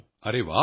ਅਰੇ ਵਾਹ